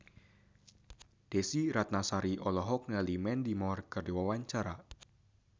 Desy Ratnasari olohok ningali Mandy Moore keur diwawancara